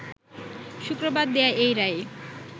শুক্রবার দেয়া এই রায়ে